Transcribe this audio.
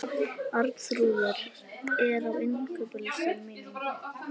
Arnþrúður, hvað er á innkaupalistanum mínum?